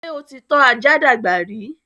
ṣé o ti tọ́ ajá dàgbà rí?